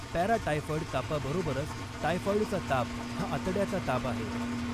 Paratyphoid तापाबरोबरच, टायफॉइडचा ताप हा आतड्याचा ताप आहे.